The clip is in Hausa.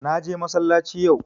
Na je massalaci yau